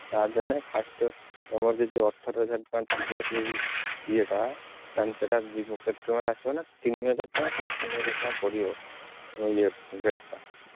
Card ଦେନେ first ତମର ଯଦି ଅଠର ହଜାର ଟଙ୍କା ଥିବ ସେଇ ଇଏ ଟା ତାଙ୍କ ସେଇଟା କେତେ ଟଙ୍କା ରେ ଆସିବ ନା ତିନିହଜାର ଟଙ୍କା ଶାଢ଼େତିନିହଜାର ଟଙ୍କା ପଡିବ।